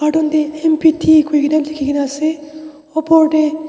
carton dae M P T kurikina liki na asae opor dae.